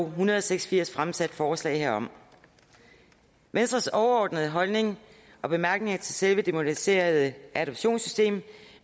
en hundrede og seks og firs fremsat forslag herom venstres overordnede holdning og bemærkninger til selve det moderniserede adoptionssystem